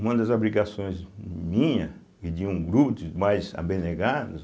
Uma das obrigações minha e de um gru de mais abnegados,